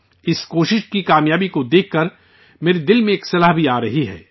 اس کوشش کی کامیابی کو دیکھ کر، میرے من میں ایک خیال بھی آ رہا ہے